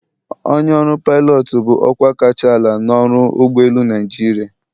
Onye ọrụ pilot bụ ọkwa kacha ala n'ọrụ ụgbọ elu Naịjirịa.